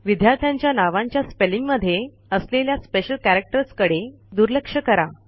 विद्यार्थ्यांच्या नावांच्या स्पेलिंग मध्ये असलेल्या स्पेशल कॅरॅक्टर्सकडे दुर्लक्ष करा